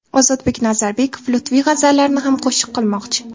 Ozodbek Nazarbekov Lutfiy g‘azallarini ham qo‘shiq qilmoqchi.